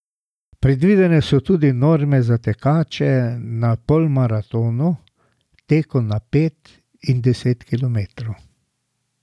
Predvidene so tudi norme za tekače na polmaratonu, teku na pet in deset kilometrov.